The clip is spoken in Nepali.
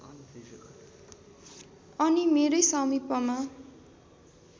अनि मेरै समिपमा